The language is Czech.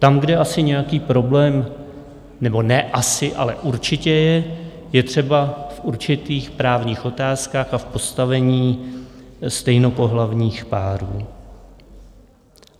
Tam, kde asi nějaký problém - nebo ne asi, ale určitě - je třeba v určitých právních otázkách a v postavení stejnopohlavních párů.